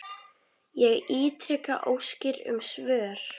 Ég ítreka óskir um svör.